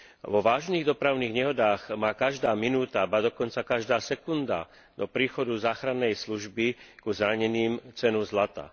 Vo vážnych dopravných nehodách má každá minúta, ba dokonca každá sekunda do príchodu záchrannej služby ku zraneným cenu zlata.